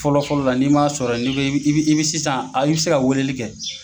Fɔlɔ fɔlɔ la n'i m'a sɔrɔ ye n'i bɛ i bɛ sisan i bɛ se ka weleli kɛ.